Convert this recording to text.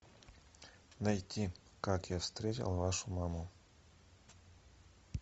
найти как я встретил вашу маму